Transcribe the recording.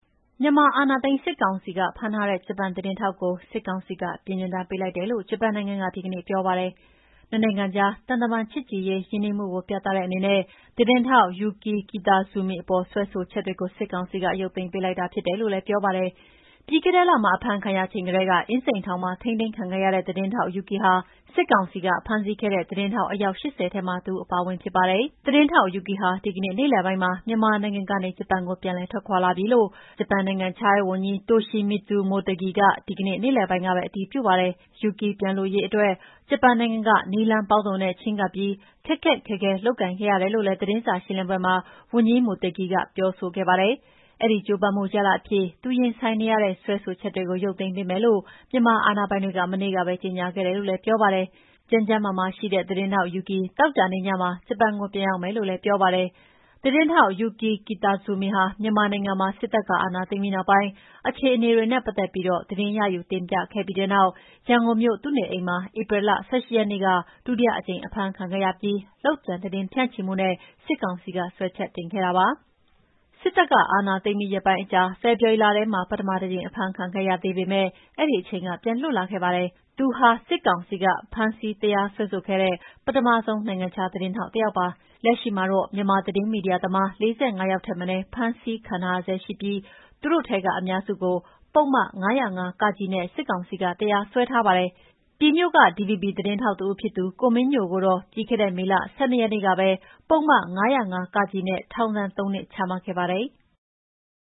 မြန်မာအာဏာသိမ်း စစ်ကောင်စီက ဖမ်းထားတဲ့ ဂျပန်သတင်းထောက်ကို စစ်ကောင်စီက ပြည်နှင်ဒဏ်ပေးလိုက်တယ်လို့ ဂျပန်နိုင်ငံက ဒီကနေ့ပြောပါတယ်။နှစ်နိုင်ငံကြား သံတမန်ရေး ချစ်ကြည်ရင်းနှီးမှုကို ပြတဲ့အနေနဲ့ သတင်းထောက် Yuki Kitazumi အပေါ်စွဲဆိုချက်တွေကို စစ်ကောင်စီက ရုပ်သိမ်းပေးလိုက်တာဖြစ်တယ်လို့လည်းပြောပါတယ်။ ပြီးခဲ့တဲ့လမှာ အဖမ်းခံရချိန်ကတည်းက အင်းစိန်ထောင်မှာ ထိန်းသိမ်းခံခဲ့ရတဲ့ သတင်းထောက် Yuki ဟာ စစ်ကောင်စီကဖမ်းဆီးခဲ့တဲ့ သတင်းထောက် အယောက် ၈၀ ထဲမှာ တဦးအပါအဝင်ဖြစ်ပါတယ်။ သတင်းထောက် Yuki ဟာ ဒီကနေ့ နေ့လည်ပိုင်းမှာ မြန်မာနိုင်ငံကနေ ဂျပန်နိုင်ငံကို ပြန်ထွက်လာပြီလို့ ဂျပန်နိုင်ငံခြားရေးဝန်ကြီး Toshimitsu Motegi က ဒီကနေ့နေ့လည်ပိုင်းကပဲ အတည်ပြုပါတယ်။ Yuki ပြန်လွတ်ရေးအတွက် ဂျပန်နိုင်ငံက နည်းလမ်းပေါင်းစုံနဲ့ချည်းကပ်ပြီး ခက်ခက်ခဲခဲ လုပ်ကိုင်ခဲ့ရတယ်လို့လည်း သတင်းစာရှင်းလင်းပွဲမှာ ဝန်ကြီး Motegi က ပြောဆိုခဲ့ပါတယ်။ အဲဒီကြိုးပမ်းမှုရလဒ်အဖြစ် သူရင်ဆိုင်နေရတဲ့ စွဲဆိုချက်တွေကို ရုပ်သိမ်းပေးမယ်လို့ မြန်မအာဏာပိုင်တွေက မနေ့ကပဲ ကြေငြာခဲ့တယ်လို့လည်းပြောပါတယ်။ ကျန်းကျန်းမာမာရှိတဲ့ သတင်းထောက် Yuki သောကြာနေ့ညမှာ ဂျပန်ကို ပြန်ရောက်မယ်လို့လည်းပြောပါတယ်။ သတင်းထောက် Yuki Kitazumi ဟာ မြန်မာနိုင်ငံမှာ စစ်တပ်ကအာဏာသိမ်းပြီးနောက်ပိုင်း အခြေအနေတွေနဲ့ပတ်သက်ပြီး သတင်းရယူ တင်ပြခဲ့ပြီးတဲ့နောက် ရန်ကုန်မြို့ သူ့နေအိမ်မှာ ဧပြီလ ၁၈ ရက်နေ့က ဒုတိယအကြိမ် အဖမ်းခံခဲ့ရပြီး လုပ်ကြံသတင်းဖြန့်ချိမူနဲ့ စစ်ကောင်စီက စွဲချက်တင်ခဲ့တာပါ။ စစ်တပ်က အာဏာသိမ်းပြီး ရက်ပိုင်းအကြာ ဖေဖော်ဝါရီလထဲမှာ ပထမတကြိမ် အဖမ်းခံခဲ့ရသေးပေမယ့် အဲဒီအချိန်က ပြန်လွတ်လာခဲ့ပါတယ်။ သူဟာ စစ်ကောင်စီက ဖမ်းဆီးတရားစွဲဆိုခဲ့တဲ့ ပထမဆုံး နိုင်ငံခြားသတင်းထောက်ပါ။ လက်ရှိမှာတော့ မြန်မာသတင်းမီဒီယာသမား ၄၅ ယောက်ထက်မနည်း ဖမ်းဆီးခံထားရဆဲရှိပြီး သူတို့ထဲကအများစုကို ပုဒ်မ ၅၀၅ (က) နဲ့ စစ်ကောင်စီက တရားစွဲထားပါတယ်။ ပြည်မြို့က ဒီဗီဘီသတင်းထောက်တဦးဖြစ်သူ ကိုမင်းညိုကိုတော့ ပြီးခဲ့တဲ့ မေလ ၁၂ ရက်နေ့ကပဲ ပုဒ်မ ၅၀၅ (က) နဲ့ ထောင်ဒဏ်သုံးနှစ် ချမှတ်ခဲ့ပါတယ်။